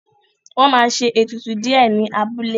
Wọ́n ma ṣe ètùtù díẹ̀ ní abúlé